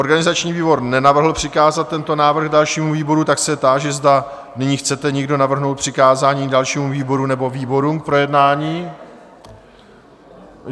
Organizační výbor nenavrhl přikázat tento návrh dalšímu výboru, tak se táži, zda nyní chcete někdo navrhnout k přikázání dalšímu výboru nebo výborům k projednání?